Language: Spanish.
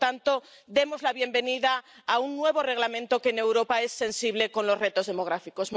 Por lo tanto, demos la bienvenida a un nuevo Reglamento que en Europa es sensible con los retos demográficos.